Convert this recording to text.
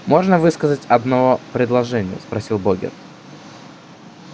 можно высказать одно предложение спросил богерт